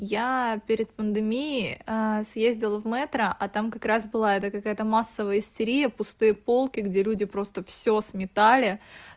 я перед пандемии съездил в метро а там как раз было это как это массовая истерия пустые полки где люди просто всё сметали